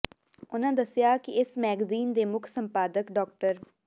ਉਨ੍ਹਾਂ ਦੱਸਿਆ ਕਿ ਇਸ ਮੈਗਜੀਨ ਦੇ ਮੁੱਖ ਸੰਪਾਦਕ ਡਾ